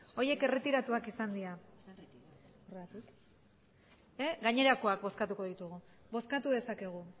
horiek erretiratuak izan dira gainerakoak bozkatuko ditugu bozkatu dezakegu